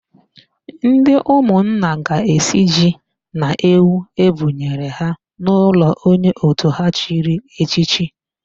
Ndị ụmụnna ga-esi ji na ewu ebụnyere ha n'ụlọ onye òtù ha chiri echichi.